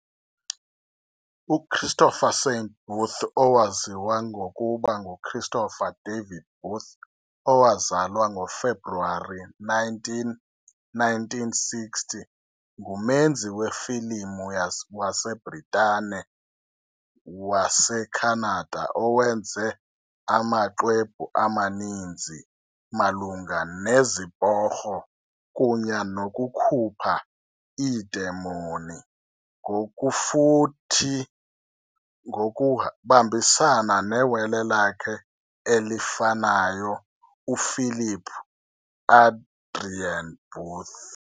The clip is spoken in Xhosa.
UChristopher Saint Booth, owaziwa ngokuba nguChristopher David Booth, owazalwa ngoFebruwari 19, 1960, ngumenzi wefilimu waseBritane-waseKhanada owenze amaxwebhu amaninzi malunga neziporho kunye nokukhupha iidemon, ngokufuthi ngokubambisana newele lakhe elifanayo, uPhilip Adrian Booth.